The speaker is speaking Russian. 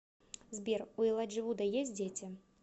сбер у элайджи вуда есть дети